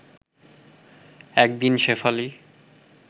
এক দিন শেফালি